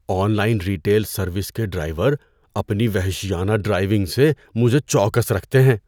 On line retail service کے driver اپنی وحشیانہ ڈرائیونگ سے مجھے چوکس رکھتے ہیں۔